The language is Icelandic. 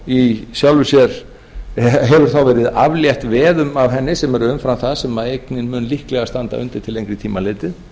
þá hefur verið aflétt veðum af eigninni sem eru umfram það sem eignin mun líklega standa undir til lengri tíma litið